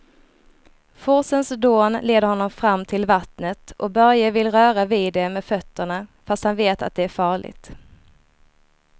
Forsens dån leder honom fram till vattnet och Börje vill röra vid det med fötterna, fast han vet att det är farligt.